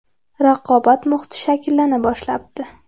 Raqobat muhiti shakllana boshlabdi.